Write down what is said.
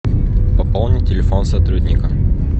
пополнить телефон сотрудника